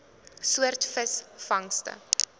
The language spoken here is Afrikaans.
soort visvangste